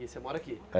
E você mora aqui?